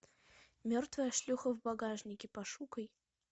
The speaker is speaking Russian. мертвая шлюха в багажнике пошукай